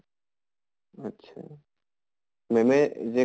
আত্চ্ছা ma'am য়ে যে